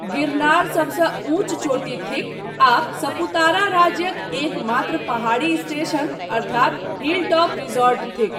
गिरनार सबसँ ऊँच चोटी थिक, आ सपुतारा राज्यक एकमात्र पहाड़ी स्टेशन अर्थात हिलटॉप रिसॉर्ट थिक।